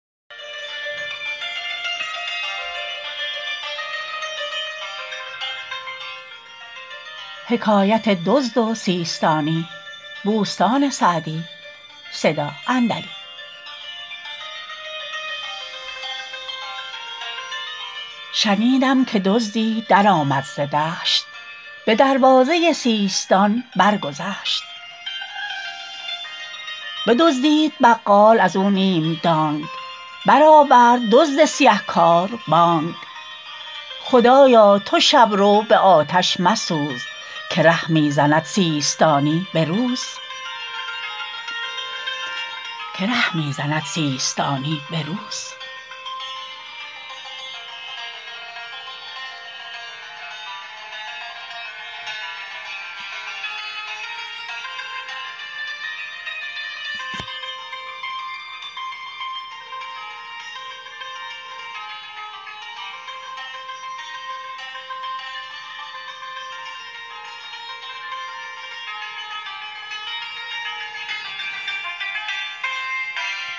شنیدم که دزدی درآمد ز دشت به دروازه سیستان برگذشت بدزدید بقال از او نیم دانگ برآورد دزد سیه کار بانگ خدایا تو شب رو به آتش مسوز که ره می زند سیستانی به روز